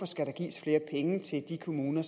skal gives flere penge til de kommuner